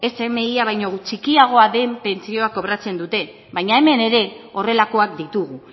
smia baino txikiagoa den pentsioa kobratzen dute baina hemen ere horrelakoak ditugu